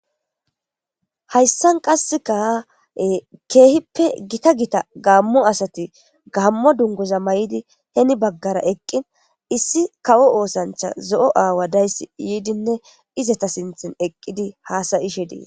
Hayssan qasseka keehippe gita gita gaammo asati gaammo dungoza may7idi heni baggara eqqin issi kawo oosancha zo7o aawa dayss yiidinne izata sinthin eqqidi haasayishe diees.